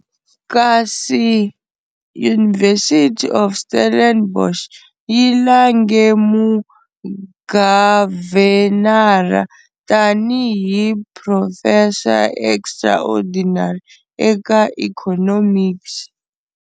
Kasi University of Stellenbosch yi lange Mugavhenara tani hi Professor Extraordinary eka Economics.